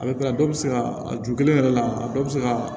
A bɛ kila dɔw bɛ se ka a ju kelen yɛrɛ la a dɔw bɛ se ka